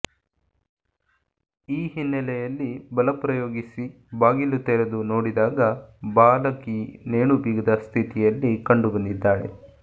ಈ ಹಿನ್ನೆಲೆಯಲ್ಲಿ ಬಲ ಪ್ರಯೋಗಿಸಿ ಬಾಗಿಲು ತೆರೆದು ನೋಡಿದಾಗ ಬಾಲಕಿ ನೇಣುಬಿಗಿದ ಸ್ಥಿತಿಯಲ್ಲಿ ಕಂಡು ಬಂದಿದ್ದಾಳೆ